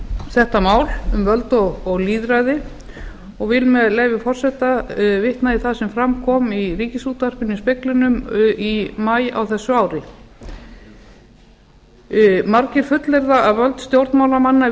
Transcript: þetta mál um völd og lýðræði og vil með leyfi forseta vitna í það sem fram kom í ríkisútvarpinu í speglinum í maí á þessu ári margir fullyrða að völd stjórnmálamanna